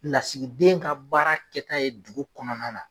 Lasigiden ka baara kɛta ye dugu kɔnɔna na.